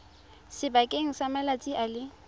sebakeng sa malatsi a le